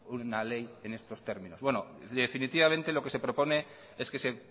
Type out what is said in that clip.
una ley en estos términos bueno definitivamente lo que se propone es que se